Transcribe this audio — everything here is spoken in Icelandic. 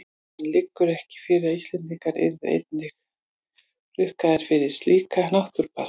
En liggur ekki fyrir að Íslendingar yrðu einnig rukkaðir fyrir slíka náttúrupassa?